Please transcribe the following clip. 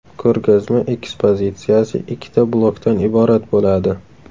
Ko‘rgazma ekspozitsiyasi ikkita blokdan iborat bo‘ladi.